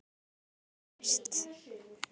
Þetta bara gerist.